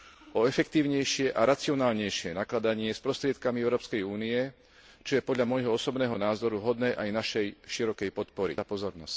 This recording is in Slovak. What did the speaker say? o efektívnejšie a racionálnejšie nakladanie s prostriedkami Európskej únie, čo je podľa môjho osobného názoru hodné aj našej širokej podpory.